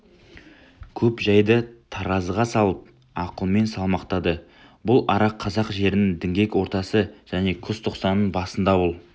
көп жайды таразыға салып ақылмен салмақтады бұл ара қазақ жерінің діңгек ортасы және күзтоқсанның басында бұл